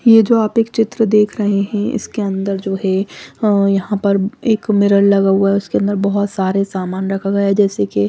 ये जो आप एक चित्र देख रहे हैं इसके अन्दर जो है अ यहाँ पर एक मिरर लगा हुआ उसके अन्दर बहुत सारे सामान रखा गया है जैसे की--